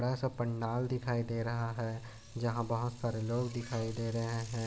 बड़ा सा पंडाल दिखाई दे रहा है जहाँ बहुत सारे लोग दिखाई दे रहे है